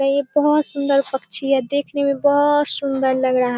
ये बहुत सुंदर पक्षी है देखने में बहुत सुंदर लग रहा।